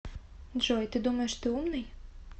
джой ты думаешь ты умный